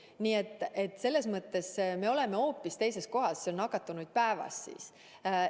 Nii et selles mõttes me oleme hoopis teises olukorras.